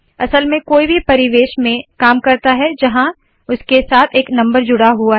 असल में कोई भी परिवेश में काम करता है जहाँ उसके साथ एक नंबर जुड़ा हुआ है